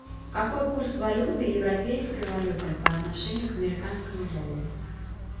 какой курс валюты европейской валюты по отношению к американскому доллару